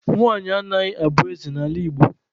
Nwanyị anaghị abụ eze n'ala Igbo.